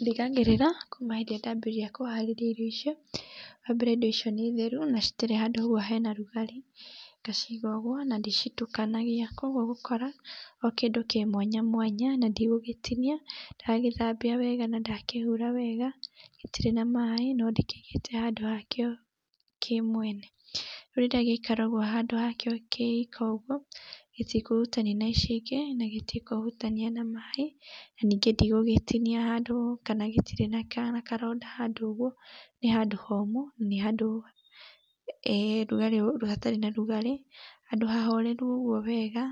Ndigagĩrĩra kũma hindĩ arĩa ndambĩrĩria kũharĩria irio icio wambere indo icio nĩ theru na citirĩ handũ hena rugarĩ ngaciiga ũguo na ndicitukanagia na kwa ũguo ũgũkora o kĩndũ kĩ mwanya mwanya na ndigũgĩtinia ndagithambia wega na ndakĩhura wega gĩtirĩ na maĩ no ndĩkĩigĩte handũ hakĩo kĩ mwene gĩikaraga handũ hakĩo kĩika ũguo gĩtikũhutania na ici ingĩ na gĩtikũhutania na maĩ na ningĩ ndigũgĩtinia handũ kana gĩtirĩ na karonda handũ ũguo nĩ handũ hũmũ na nĩ handũ hatarĩ na rugarĩ handũ hahoreru ũguo wega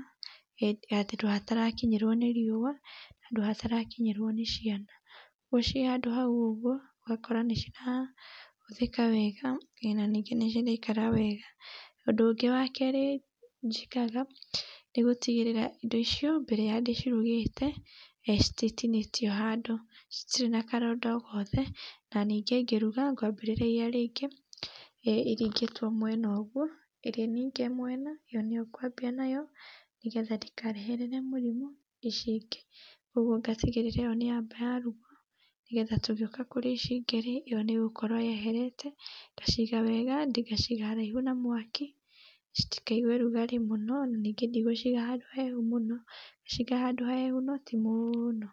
handũ hatarakinyĩrwo nĩ riua handũ hatarakinyĩrwo nĩ ciana ũguo cĩĩ handũ haũ ũguo ũgakora nĩcirahũthĩka wega na ningĩ nĩciraikara wega ũnd ũúũgĩ wa kerĩ njĩkaga nĩ gũtigĩríĩa indo ici mbere wa ndĩcirugĩte cititinĩtio handũ citirĩ na karonda ó gothe na ningĩ ngĩruga ngwambĩrĩria iria rĩngĩ iringĩtwo mwena ũguo ĩrĩa ninge mwena ĩyo niyo ngwambia nayo nĩgetha ndĩkareherere mũrimũ ici ingĩ ũguo ngatigĩrĩra ĩyo nĩyamba yarugwo nĩgetha tũgĩoka kũríĩ ici ingĩ ĩyo nĩ ĩgúũorwo yeherete ngaciga wega ngaciga haraihu na mwaki citikaigue rugarĩ mũno na ningĩ ndigũciga handũ hahehu mũno ngaciiga handũ hahehu no ti mũno.